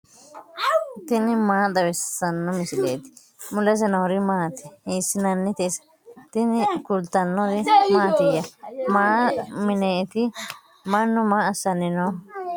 tini maa xawissanno misileeti ? mulese noori maati ? hiissinannite ise ? tini kultannori mattiya? Mayi mineetti? Mannu maa assanni nooho?